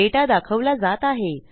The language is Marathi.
डेटा दाखवला जात आहे